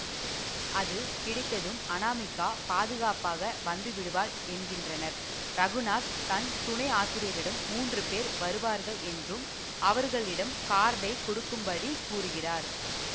அது கிடைத்ததும் அநாமிகா பாதுகாப்பாக வந்துவிடுவாள் என்கின்றனர் இரகுநாத் தன் துனை ஆசிரியரிடம் மூன்று பேர் வருவார்கள் என்றும் அவர்களிடம் கார்டை கொடுக்கும்படி கூறுகிறார்